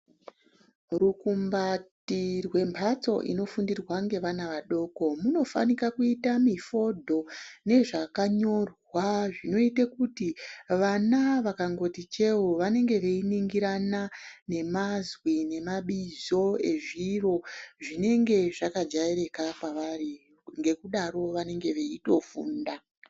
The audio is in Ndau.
Rukumbati rwembatso inofundirwa ngevana vadoko munofanika kuita mifodho nezvakanyorwa zvinoite kuti vana vakangoti cheu vanenge veiningirana nezviro nemazwi nemabizvo ezviro zvinenge zvakajairika kwavari, ngekudaro vanenge veitofunda.